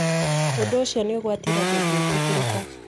Ũndũ ũcio nĩ ũgwati na ndũngĩtĩkĩrĩka.